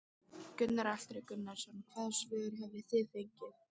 Gunnar Atli Gunnarsson: Hvaða svör hafi þið fengið?